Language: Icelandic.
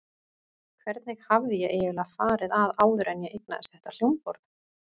Hvernig hafði ég eiginlega farið að áður en ég eignaðist þetta hljómborð?